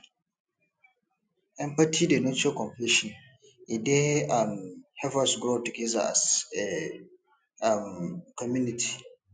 empathy dey nurture compassion e dey um help us grow together as a um community